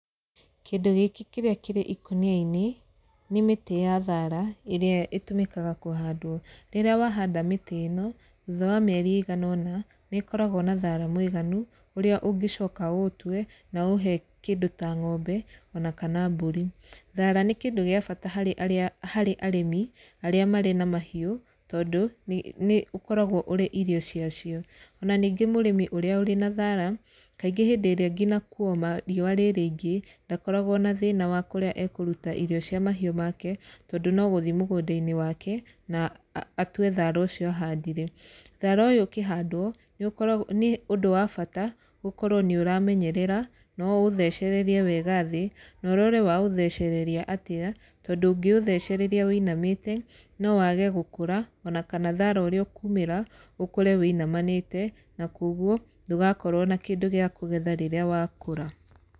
Kĩndũ gĩkĩ kĩrĩa kĩrĩ ikũnia-inĩ, nĩ mĩtĩ ya thaara, ĩrĩa ĩtũmĩkaga kũhandwo. Rĩrĩa wahanda mĩtĩ ĩno, thutha wa mĩeri ĩigana ũno, nĩ ĩkoragwo na thaara mũiganu, ũrĩa ũngĩcoka ũũtue na ũũhe kĩndũ ta ng'ombe ona kana mbũri. Thaara nĩ kĩndũ gĩa bata harĩ arĩa harĩ arĩmi arĩa marĩ na mahiũ tondũ, nĩ ũkoragwo ũrĩ irio cia cio. Ona ningĩ mũrĩmi ũrĩa ũrĩ na thaara, kaingĩ hĩndĩ ĩrĩa ngina kuoma riũa rĩ rĩingĩ, ndakoragwo na thĩna wa kũrĩa ekũruta irio cia mahiũ make tondũ no gũthi mũgũnda-inĩ wake, na atue thaara ũcio ahandire. Thaara ũyũ ũkĩhandwo, nĩ ũkaragwo nĩ ũndũ wa bata gũkorwo nĩ ũramenyerera, na ũũthecererie wega thĩ, na ũrore waũthecereria atĩa, tondũ ũngĩũthecereria wĩinamĩte no wage gũkũra ona kana thaara ũrĩa ũkũmĩra ũkore wĩinamanĩte na kũguo ndũgakorwo na kĩndũ gĩa kũgetha rĩrĩa wakũra.